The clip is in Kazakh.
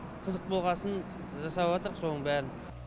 қызық болғасын жасап отырық соның бәрін